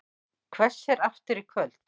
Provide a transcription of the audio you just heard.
Hvessir aftur í kvöld